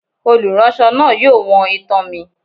Oluránsọ náá yóò wọ́n itán mí